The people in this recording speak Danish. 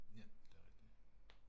Ja, det er rigtigt